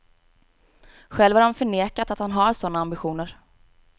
Själv har han förnekat att han har sådana ambitioner.